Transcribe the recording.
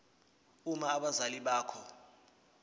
uma abazali bakho